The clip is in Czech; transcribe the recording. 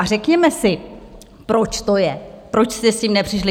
A řekněme si, proč to je, proč jste s tím nepřišli.